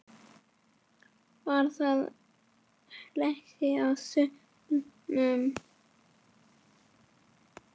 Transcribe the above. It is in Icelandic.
Var þá hlegið í salnum.